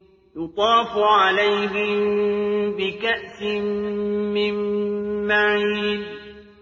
يُطَافُ عَلَيْهِم بِكَأْسٍ مِّن مَّعِينٍ